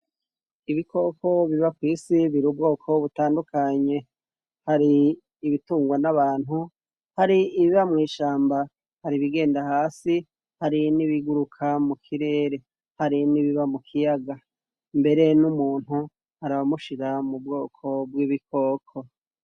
Ibikoko biba kw'isi biri ubwoko butandukanye hari ibitungwa n'abantu hari ibiba mu ishamba hari bigenda hasi hari n'ibiguruka mu kirere hari n'ibiba mu kiyaga mbere n'umuntu arabamushira mu bwoko bw'ibikoko.